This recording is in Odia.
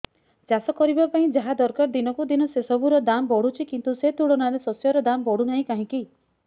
ଚାଷ କରିବା ପାଇଁ ଯାହା ଦରକାର ଦିନକୁ ଦିନ ସେସବୁ ର ଦାମ୍ ବଢୁଛି କିନ୍ତୁ ସେ ତୁଳନାରେ ଶସ୍ୟର ଦାମ୍ ବଢୁନାହିଁ କାହିଁକି